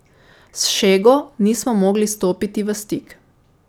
S Šego nismo mogli stopiti v stik.